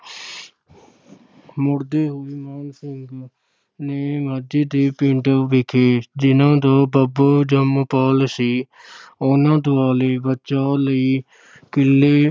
ਮੁੜਦੇ ਹੋਏ ਮਾਨ ਸਿੰਘ ਨੇ ਮਾਝੇ ਦੇ ਪਿੰਡ ਵੇਖੇ, ਜਿਨ੍ਹਾਂ ਦਾ ਬਾਬਾ ਜੰਮ-ਪਲ ਸੀ ਉਹਨਾਂ ਦੁਆਲੇ ਬਚਾਅ ਲਈ ਕਿਲ੍ਹੇ